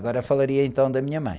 Agora falaria, então, da minha mãe.